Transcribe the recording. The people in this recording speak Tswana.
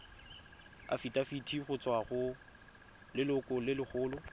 afitafiti go tswa go lelokolegolo